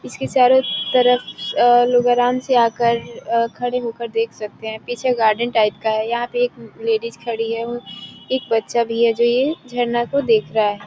इसके चारो तरफ अ लुब्रान से आकर अ खड़े होकर देख सकते हैं पीछे गार्डन टाइप का यहां पे एक लेडीज़ खड़ी हैं उ एक बच्चा भी है जो ये झरना को देख रहा है।